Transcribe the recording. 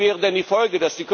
Was wäre denn die Folge?